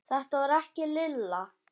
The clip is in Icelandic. Þetta var ekki Lilla.